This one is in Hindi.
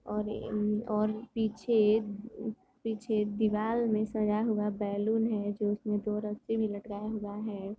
और इन और पीछे पीछे दीवार में सजा हुआ बैलून है जो उसमे दो रस्सी भी लटकाया हुआ है।